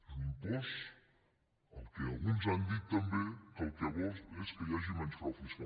és un impost el que alguns han dit també que el que vol és que hi hagi menys frau fiscal